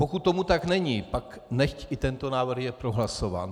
Pokud tomu tak není, pak nechť i tento návrh je prohlasován.